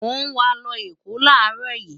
mo wàá lọ Èkó láàárọ̀ yìí